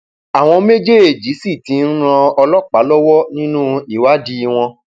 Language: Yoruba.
àwọn méjèèjì sì ti ń ran ọlọpàá lọwọ nínú ìwádìí wọn